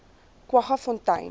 kwaggafontein